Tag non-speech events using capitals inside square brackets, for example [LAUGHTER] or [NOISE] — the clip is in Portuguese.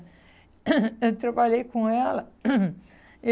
[COUGHS] Eu trabalhei com ela. [COUGHS]